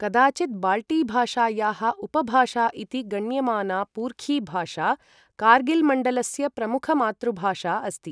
कदाचित् बाल्टीभाषायाः उपभाषा इति गण्यमाना पुर्खी भाषा, कार्गिल्मण्डलस्य प्रमुखमातृभाषा अस्ति।